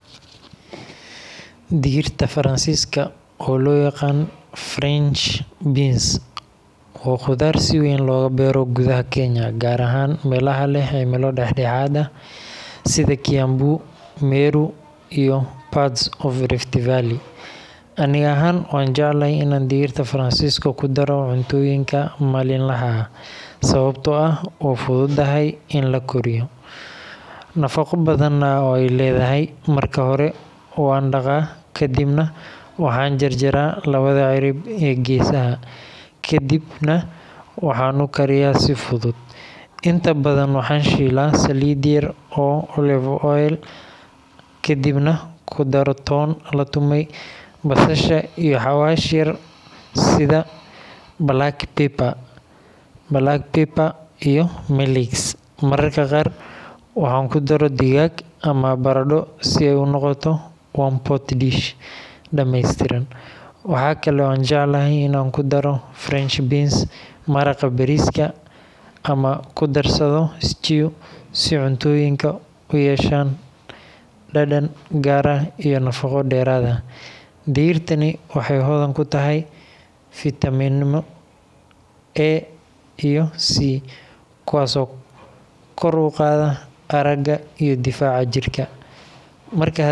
Digirta Faransiiska, oo loo yaqaan French beans, waa khudaar si weyn looga beero gudaha Kenya, gaar ahaan meelaha leh cimilo dhexdhexaad ah sida Kiambu, Meru, iyo parts of Rift Valley. Aniga ahaan, waan jecelahay inaan digirta Faransiiska ku daro cuntooyinka maalinlaha ah, sababtoo ah waa fududahay in la kariyo, nafaqo badanna way leedahay. Marka hore waan dhaqaa, kadibna waxaan jarjaraa labada cirib ee geesaha, ka dibna waxaan u kariyaa si fudud. Inta badan waxaan shiilaa saliid yar oo olive oil ah, kadibna ku daro toon la tumay, basasha, iyo xawaash yar sida black pepper iyo milix. Mararka qaar waxaan ku daro digaag ama baradho si ay u noqoto one-pot dish dhameystiran. Waxa kale oo aan jeclahay in aan ku daro French beans maraqa bariiska ama ku darsado stew si cuntooyinka u yeeshaan dhadhan gaar ah iyo nafaqo dheeraad ah. Digirtani waxay hodan ku tahay fiitamiino A iyo C, kuwaas oo kor u qaada aragga iyo difaaca jirka.